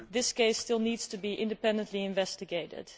This case still needs to be independently investigated.